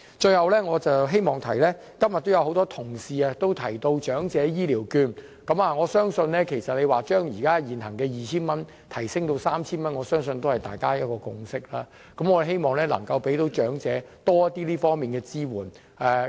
最後，我想說的是，今天很多同事提到長者醫療券，我相信將現行 2,000 元提升至 3,000 元，是大家的一個共識，我們希望能夠給長者更多這方面的支援。